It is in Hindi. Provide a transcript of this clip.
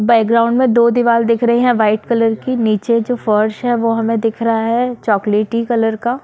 बैकग्राउंड में दो दीवाल दिख रही है वाईट कलर की नीचे जो फर्श है वो हमे दिख रहा है चोक्लेटी कलर का।